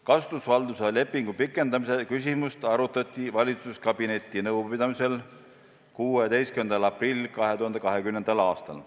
Kasutusvalduse lepingu pikendamise küsimust arutati valitsuskabineti nõupidamisel 16. aprillil 2020. aastal.